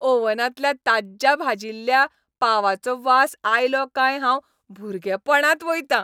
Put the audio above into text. ओव्हनांतल्या ताज्ज्या भाजिल्ल्या पावाचो वास आयलो काय हांव भुरगेपणांत वयतां.